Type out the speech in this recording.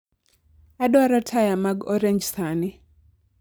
Adwaro taya mag orange sani